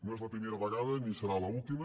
no és la primera vegada ni serà l’última